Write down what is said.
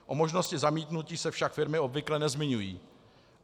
O možnosti zamítnutí se však firmy obvykle nezmiňují.